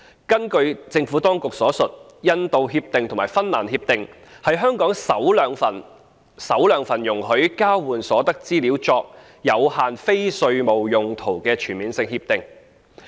根據政府當局所述，《印度協定》及《芬蘭協定》是香港首兩份容許將交換所得資料作有限非稅務用途的全面性協定。